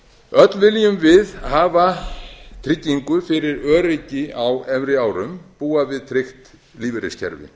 öll viljum við hafa tryggingu fyrir öryggi á efri árum búa við tryggt lífeyriskerfi